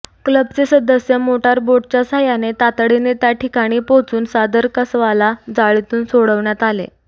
क्लबचे सदस्य मोटर बोटच्या साहाय्याने तातडीने त्या ठिकाणी पोचून सादर कासवाला जाळीतून सोडविण्यात आले